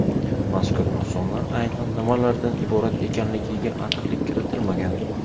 Mazkur nuqsonlar aynan nimalardan iborat ekanligiga aniqlik kiritilmagan.